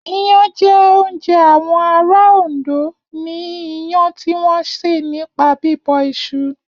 Iyán jẹ́ oúnjẹ àwọn ará Òndó ni iyán tí wọ́n sè nípa bíbọ̀ iṣu.